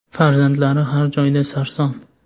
Farzandlari har joyda sarson.